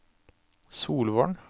Solvorn